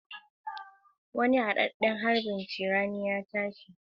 Wani hadadden harbin crane ya tashi